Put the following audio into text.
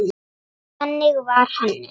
Þannig var Hannes.